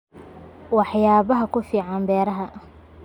Waxyaabo ku fiican beeraha.